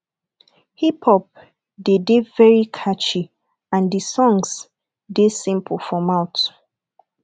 hiphop dey de very catchy and the songs de simple for mouth